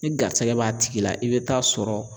Ni garisɛgɛ b'a tigi la i bɛ taa sɔrɔ